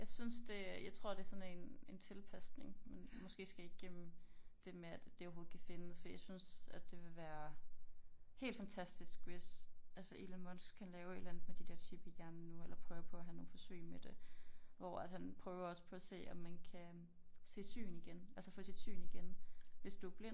Jeg synes det jeg tror det sådan en en tilpasning man måske skal igennem det med at det overhovedet kan findes fordi jeg synes at det ville være helt fantastisk hvis altså Elon Musk han laver et eller andet med de dér chip i hjernen nu eller prøver på at have nogle forsøg med det hvor at han prøver også på at se om man kan se syn igen altså få sit syn igen hvis du er blind